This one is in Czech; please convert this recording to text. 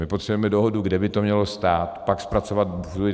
My potřebujeme dohodu, kde by to mělo stát, pak zpracovat studii.